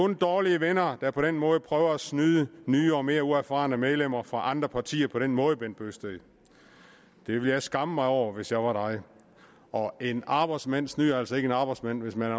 er dårlige venner der på den måde prøver at snyde nye og mere uerfarne medlemmer fra andre partier på den måde herre bent bøgsted det ville jeg skamme mig over hvis jeg var dig og en arbejdsmand snyder altså ikke en arbejdsmand hvis man